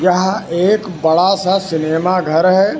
यह एक बड़ा सा सिनेमा घर है।